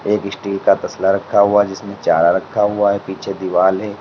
एक स्टील का तसला रखा हुआ जिसमें चारा रखा हुआ है पीछे दीवाल है।